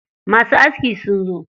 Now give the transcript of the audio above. Masu askin sun zo.